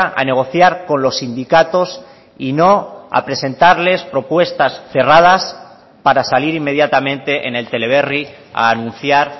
a negociar con los sindicatos y no a presentarles propuestas cerradas para salir inmediatamente en el teleberri a anunciar